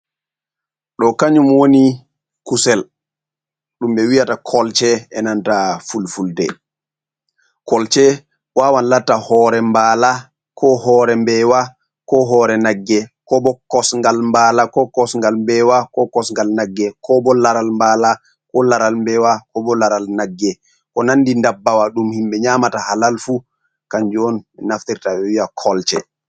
Ɗo kanyum woni kusel. Ɗumɓe wi'ata kolce e nanta fulfulde. kolce wawan lata hore mbala, ko hore mbewa, ko hore nagge, ko bo kosngal mbala, ko kosgal mbeewa, ko kosgal nagge, ko bo laral mbala, ko laral mbewa, ko bo laral nagge, ko ko nandi dabbawa. Ɗum himɓe nyamata halalfu. Kanju on be naftirta ɓe wiɗa kolce.